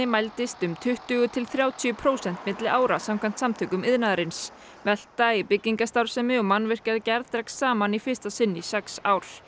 mælist um tuttugu til þrjátíu prósent milli ára samkvæmt Samtökum iðnaðarins velta í byggingarstarfsemi og mannvirkjagerð dregst saman í fyrsta sinn í sex ár